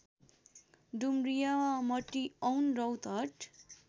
Dumaria Matiaun Rautahat